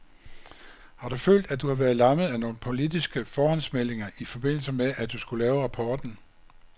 Har du følt, at du har været lammet af nogle politiske forhåndsmeldinger i forbindelse med, at du skulle lave rapporten?